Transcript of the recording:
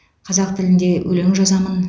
қазақ тілінде өлең жазамын